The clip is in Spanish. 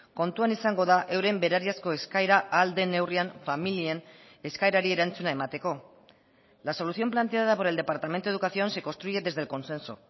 kontuan izango da euren berariazko eskaera ahal den neurrian familien eskaerari erantzuna emateko la solución planteada por el departamento de educación se construye desde el consenso